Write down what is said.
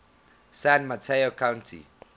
san mateo county